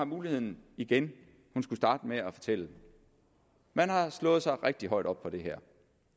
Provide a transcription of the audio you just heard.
muligheden igen skulle starte med at fortælle man har slået sig rigtig højt op på det her